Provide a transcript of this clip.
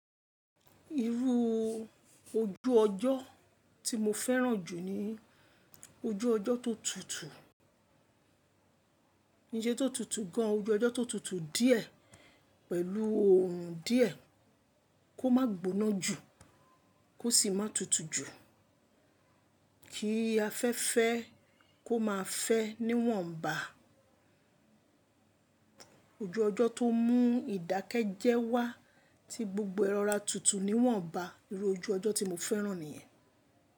Irú ojú ọjọ́ tí mo fẹ́ràn jù ni ojú ọjọ́ tó tutù, kii se tó tutù gan. Ojú ọjọ́ tó tutù díẹ̀ pẹ̀lú orùn díẹ̀ kó má gbóná jù, kó sì má tutù jù. Kí afẹ́fẹ́ kó maá fẹ́ níwọ̀n bá. Ojú ọjọ́ tó mú ìdákẹ́jẹ́wá tí gbogbo ẹ rọra tutù níwọ̀n bá. Irú ojú ọjọ́ tí mo fẹ́ràn nìyẹn.